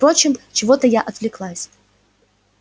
впрочем чего-то я отвлеклась